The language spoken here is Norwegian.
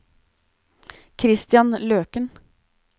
Kristian Løken